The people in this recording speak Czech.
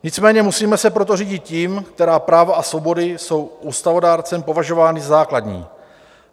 Nicméně musíme se proto řídit tím, která práva a svobody jsou ústavodárcem považovány za základní.